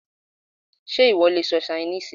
Sé ìwọ le sọ Ṣainíìsì?